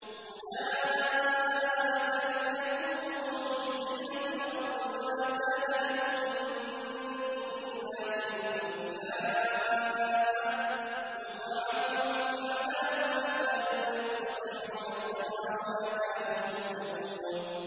أُولَٰئِكَ لَمْ يَكُونُوا مُعْجِزِينَ فِي الْأَرْضِ وَمَا كَانَ لَهُم مِّن دُونِ اللَّهِ مِنْ أَوْلِيَاءَ ۘ يُضَاعَفُ لَهُمُ الْعَذَابُ ۚ مَا كَانُوا يَسْتَطِيعُونَ السَّمْعَ وَمَا كَانُوا يُبْصِرُونَ